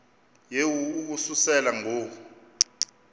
yehu ukususela ngo